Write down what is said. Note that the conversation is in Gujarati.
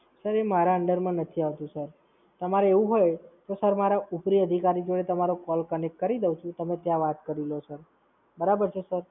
Sir એ મારા અંડરમાં નથી આવતું Sir. તમારે એવું હોય તો Sir મારા ઉપરી અધિકારી જોડે તમારો Call connect કરી દઉં છું. તમે ત્યાં વાત કરી લો Sir. બરાબર છે Sir?